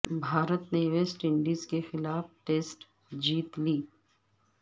بھارت نے West Indies کے خلاف ٹیسٹ سیریز جیت لی